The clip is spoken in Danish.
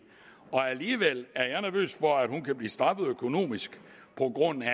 alligevel er jeg nervøs for at hun kan blive straffet økonomisk på grund af